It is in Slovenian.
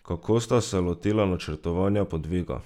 Kako sta se lotila načrtovanja podviga?